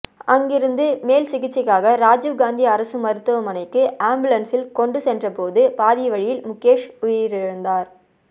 அங்கிருந்து மேல் சிகிச்சைக்காக ராஜிவ் காந்தி அரசு மருத்துவமனைக்கு ஆம்புலன்சில் கொண்டு சென்றபோது பாதி வழியில் முகேஷ் உயிரிழந்தார்